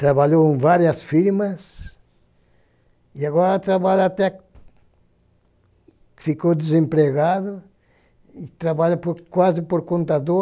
Trabalhou em várias firmas e agora trabalha até que ficou desempregado e trabalha quase por computador.